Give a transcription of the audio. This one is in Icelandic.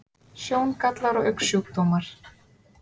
Sjóngallar og augnsjúkdómar